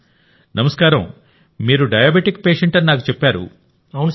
ప్రధానమంత్రి గారు నమస్కారంమీరు డయాబెటిక్ పేషెంట్ అని నాకు చెప్పారు